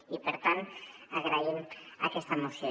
i per tant agraïm aquesta moció